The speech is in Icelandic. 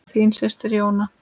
Þín systir, Jóna.